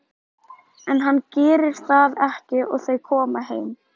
En hann gerir það ekki og þau koma heim.